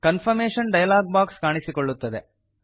confirmation dialog box ಕಾಣಿಸಿಕೊಳ್ಳುತ್ತದೆ